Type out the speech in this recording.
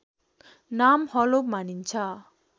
नाम हलो मानिन्छ